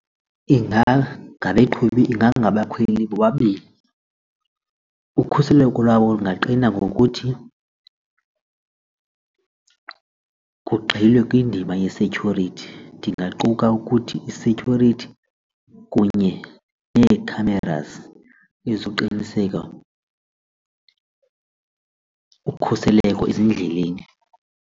ingangabakhweli bobabini, ukhuseleko lwabo lungaqina ngokuthi kugxilwe kwiindima ye-security ndingaquka ukuthi i-security kunye nee-cameras ezoqiniseka ukhuseleko ezindleleni.